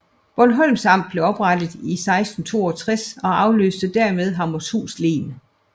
Bornholms Amt blev oprettet i 1662 og afløste dermed Hammershus Len